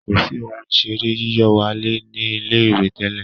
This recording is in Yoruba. kọ sí Ohun ìṣeré yíyọ̀wálẹ̀ ní ilé-ìwé tẹlẹ.